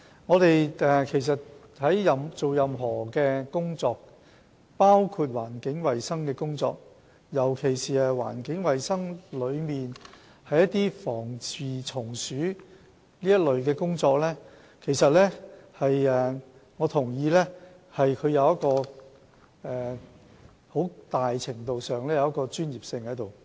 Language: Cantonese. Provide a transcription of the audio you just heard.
我同意我們做任何工作，包括環境衞生工作，尤其是環境衞生中的防治蟲鼠工作，很大程度上需要具備專業知識，所以食環署的防治蟲鼠組人員都是專家。